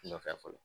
Nɔfɛ fɔlɔ